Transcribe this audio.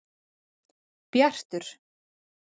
Bjartur